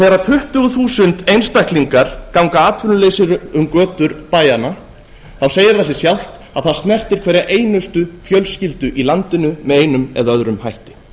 þegar tuttugu þúsund einstaklingar ganga atvinnulausir um götur bæjanna segir það sig sjálft að það snertir hverja einustu fjölskyldu í landinu með einum eða öðrum hætti